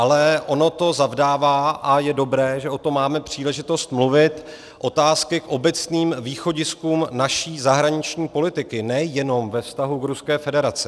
Ale ono to zavdává, a je dobré, že o tom máme příležitost mluvit, otázky k obecným východiskům naší zahraniční politiky nejenom ve vztahu k Ruské federaci.